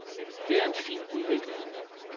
Det er en fin udvikling.